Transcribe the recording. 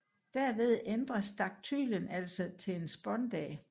Derved ændres daktylen altså til en spondæ